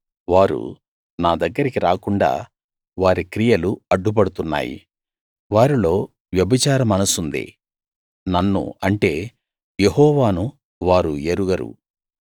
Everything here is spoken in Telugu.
వారు నా దగ్గరికి రాకుండా వారి క్రియలు అడ్డుపడుతున్నాయి వారిలో వ్యభిచార మనసుంది నన్ను అంటే యెహోవాను వారు ఎరుగరు